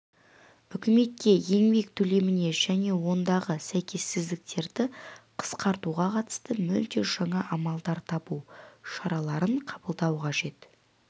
үкіметке еңбек төлеміне және ондағы сәйкессіздіктерді қысқартуға қатысты мүлде жаңа амалдар табу шараларын қабылдау қажет